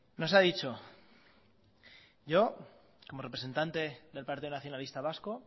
nos ha dicho yo como representante del partido nacionalista vasco